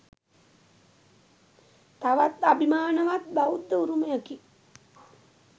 තවත් අභිමානවත් බෞද්ධ උරුමයකි.